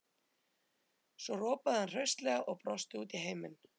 Svo ropaði hann hraustlega og brosti út í heiminn.